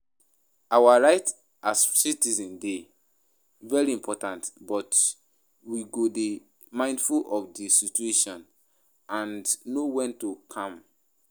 Our rights as citizens dey very important, but we go dey mindful of di situation and know when to calm.